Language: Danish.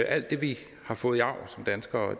alt det vi har fået i arv som danskere